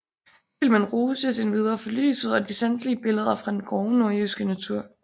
Filmen rostes endvidere for lyset og de sanselige billeder fra den grove nordjyske natur